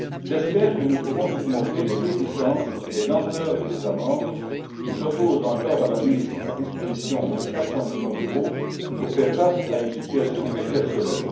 J'espère que nous pourrons surmonter les réticences et les lenteurs des États membres, qui s'opposent encore à la mise à disposition des 400millions d'euros pour faire face à une situation exceptionnelle.